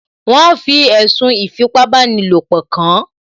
Wọ́n fi ẹ̀sùn ìfipábanílòpọ̀ kàán